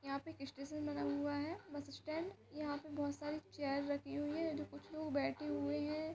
यहाँ पे एक स्टेशन बना हुआ है बस स्टैंड । यहाँ पे बहोत सारी चेयर रखी हुई है जो कि कुछ लोग बैठे हुए हैं।